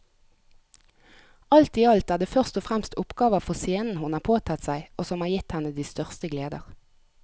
Alt i alt er det først og fremst oppgaver for scenen hun har påtatt seg og som har gitt henne de største gleder.